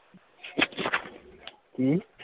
ਕੀ?